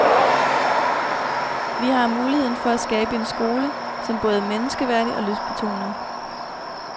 Vi har muligheden for at skabe en skole, som både er menneskeværdig og lystbetonet.